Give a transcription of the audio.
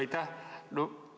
Aitäh!